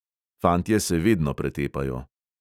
Fantje se vedno pretepajo.